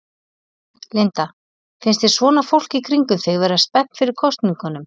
Linda: Finnst þér svona fólk í kringum þig vera spennt fyrir kosningunum?